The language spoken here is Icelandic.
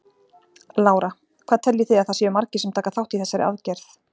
Lára: Hvað teljið þið að það séu margir sem taka þátt í þessari aðgerð?